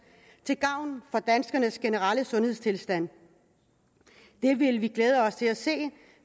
til gavn for danskernes generelle sundhedstilstand det vil vi glæde os til at se